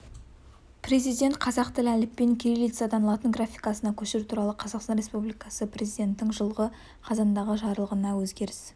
президент қазақ тілі әліпбиін кириллицадан латын графикасына көшіру туралы қазақстан республикасы президентінің жылғы қазандағы жарлығына өзгеріс